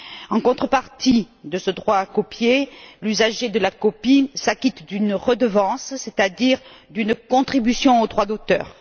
En contrepartie de ce droit à copier, l'usager de la copie s'acquitte d'une redevance, c'est à dire d'une contribution au droit d'auteur.